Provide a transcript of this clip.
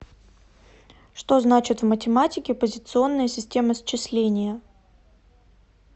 что значит в математике позиционная система счисления